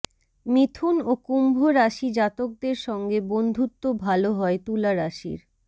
মিথুন ও কুম্ভ রাশি জাতকদের সঙ্গে বন্ধুত্ব ভাল হয় তুলা রাশির